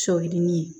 Sɔ yirinin ye